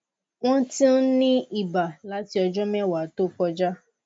wọn ti ń ní iba láti ọjọ mẹwàá tó kọjá